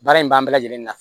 Baara in ban bɛ lajɛlen na